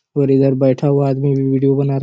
और इधर बैठा हुआ आदमी भी वीडियो बना रहा --